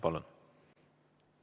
Palun!